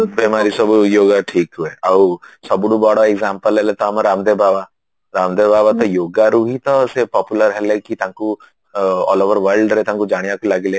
ବେମାରୀ ସବୁ yoga ଠିକ ହୁଏ ଆଉ ସବୁଠୁ ବଡ example ହେଲା ତ ଆମ ରାମଦେବ ବାବା ରାମଦେବ ବାବାତ yogaରୁ ହିଁ popular ହେଲେକି ତାଙ୍କୁ all over worldରେ ତାଙ୍କୁ ଜାଣିବାକୁ ଲାଗିଲେ